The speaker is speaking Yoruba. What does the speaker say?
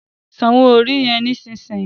Sàn owo orí yen nísìsiyìí!